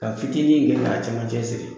Ka fitini in kɛ k'a cɛmancɛ siri